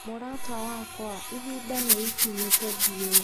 Mũrata wakwa, ihinda nĩ ikinyu tũthiĩ.